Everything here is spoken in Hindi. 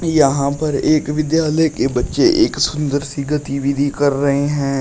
यहां पर एक विद्यालय के बच्चे एक सुंदर सी गतिविधि कर रहे हैं।